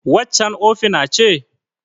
Waccan ofina ce?